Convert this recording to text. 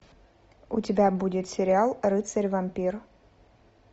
у тебя будет сериал рыцарь вампир